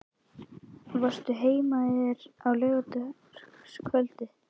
Varstu heima hjá þér á laugardagskvöldið?